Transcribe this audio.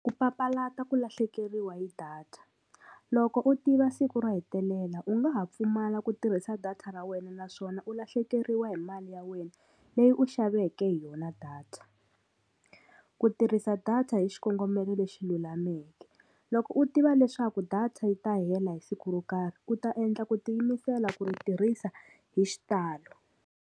Ku papalata ku lahlekeriwa hi data loko u tiva siku ro hetelela u nga ha pfumala ku tirhisa data ra wena naswona u lahlekeriwa hi mali ya wena leyi u xaveke hi yona data ku tirhisa data hi xikongomelo lexi lulameke loko u tiva leswaku data yi ta hela hi siku ro karhi u ta endla ku tiyimisela ku ri tirhisa hi xitalo.